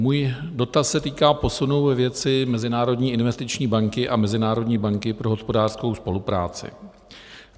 Můj dotaz se týká posunu ve věci Mezinárodní investiční banky a Mezinárodní banky pro hospodářskou spolupráci.